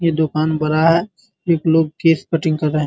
ये दुकान बड़ा है एक लोग केश कटिंग कर रहे है।